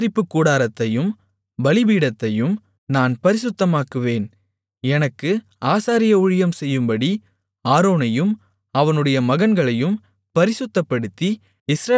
ஆசரிப்புக்கூடாரத்தையும் பலிபீடத்தையும் நான் பரிசுத்தமாக்குவேன் எனக்கு ஆசாரிய ஊழியம் செய்யும்படி ஆரோனையும் அவனுடைய மகன்களையும் பரிசுத்தப்படுத்தி